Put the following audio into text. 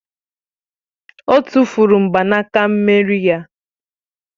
Ọ tụ́furu mgbanaka mmeri ya